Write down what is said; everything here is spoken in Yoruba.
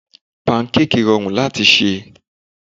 Pankákìì rọrùn láti ṣe.